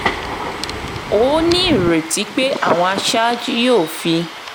ó ní ìrètí pé àwọn aṣáájú yóò fi